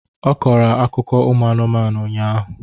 Ọ kọọrọ ha akụkọ anụmanụ ụnyahụ